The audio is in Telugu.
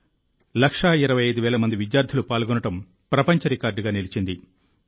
25 లక్షల మంది విద్యార్థులు పాల్గొనడం ప్రపంచ రికార్డుగా నిలిచింది